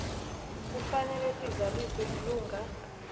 kufanele sizaliswe lilunga